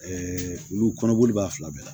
olu kɔnɔboli b'a fila bɛɛ la